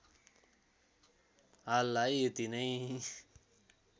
हाललाई यति नै